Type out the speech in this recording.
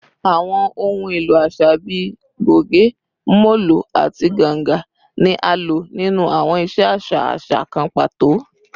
Awọn ohun elo aṣa bii goge, molo, ati ganga ni a lo ninu awọn iṣe aṣa aṣa kan pato